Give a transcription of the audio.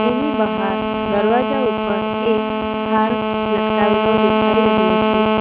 એની બહાર દરવાજા ઉપર એક હાર લટકાવેલો દેખાઈ રહ્યો છે.